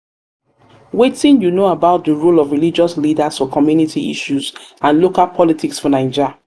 wetin you know about di role of religious leaders for community issues and local politics for naija?